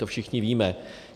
To všichni víme.